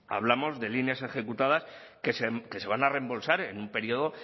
hablamos de líneas ejecutadas que se van a reembolsar en un periodo